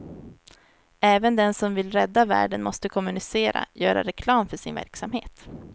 Även den som vill rädda världen måste kommunicera, göra reklam för sin verksamhet.